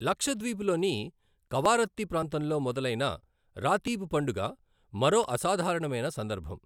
లక్షద్వీప్ లోని కవారత్తీ ప్రాంతంలో మొదలైన రాతీబ్ పండుగ మరో అసాధారణమైన సందర్భం.